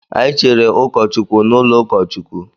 Anyị Cheere ụkọ Chukwu n'ụlọ ukachukwu.